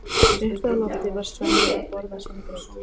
Uppi á lofti var Svenni að borða sinn graut.